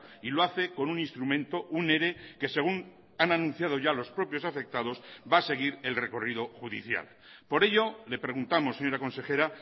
y lo hace con un instrumento un ere que según han anunciado ya los propios afectados va a seguir el recorrido judicial por ello le preguntamos señora consejera